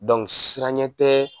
Don siranɲɛ tɛ